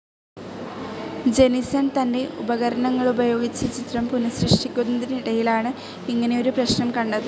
ജെനിസൺ തൻ്റെ ഉപകണങ്ങളുപയോഗിച്ച് ചിത്രം പുനഃസൃഷ്ടിക്കുന്നതിനിടയിലാണ് ഇങ്ങനെയൊരു പ്രശ്നം കണ്ടത്.